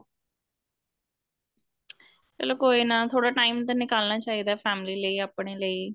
ਚਲੋ ਕੋਈ ਨਾ ਥੋੜਾ time ਤਾਂ ਨਿਕਾਲਨਾ ਚਾਹੀਦਾ family ਲੈ ਆਪਣੇ ਲਈ